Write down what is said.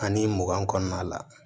Ani mugan kɔnɔna la